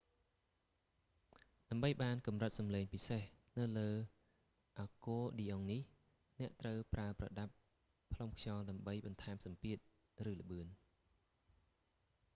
ដើម្បីបានកម្រិតសំឡងពិសេសនៅលើអាគ័រឌីអុងនេះ អ្នកត្រូវប្រើប្រដាប់ផ្លុំខ្យល់ដើម្បីបន្ថែមសម្ពាធ ឬល្បឿន